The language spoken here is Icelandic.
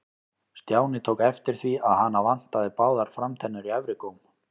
Stjáni tók eftir því að hana vantaði báðar framtennur í efri góm.